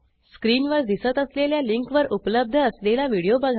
स्क्रीनवर दिसत असलेल्या लिंकवर उपलब्ध असलेला व्हिडिओ बघा